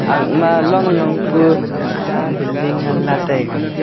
aak ma long long puu cha building nganley taiga.